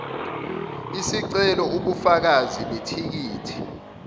isicelo ubufakazi bethikithi